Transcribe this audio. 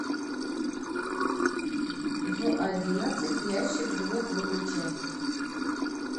в одиннадцать ящик звук выключай